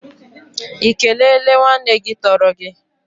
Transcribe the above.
Ị kelele nwanne gị tọrọ gị?